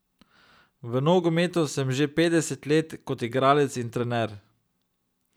V nogometu sem že petdeset let kot igralec in trener.